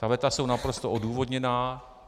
Ta veta jsou naprosto odůvodněná.